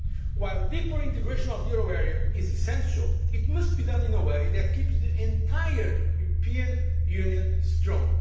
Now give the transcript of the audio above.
While deeper integration of the euro area is essential, it must be done in a way that keeps the entire European Union strong.